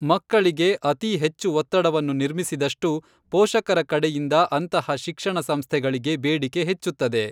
ಮಕ್ಕಳಿಗೆ ಅತೀ ಹೆಚ್ಚು ಒತ್ತಡವನ್ನು ನಿರ್ಮಿಸಿದಷ್ಟು ಪೋಷಕರ ಕಡೆಯಿಂದ ಅಂತಹ ಶಿಕ್ಷಣ ಸಂಸ್ಥೆಗಳಿಗೆ ಬೇಡಿಕೆ ಹೆಚ್ಚುತ್ತದೆ.